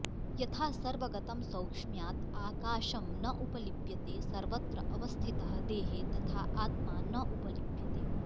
यथा सर्वगतं सौक्ष्म्यात् आकाशं न उपलिप्यते सर्वत्र अवस्थितः देहे तथा आत्मा न उपलिप्यते